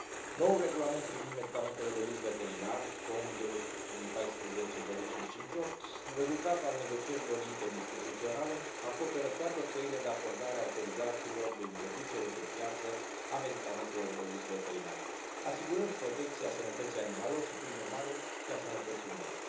Noul regulament privind medicamentele de uz veterinar COM0558 rezultat al negocierilor interinstituționale, acoperă toate căile de acordare a autorizațiilor de introducere pe piață a medicamentelor de uz veterinar, asigurând protecția sănătății animalelor și, prin urmare, și a sănătății umane,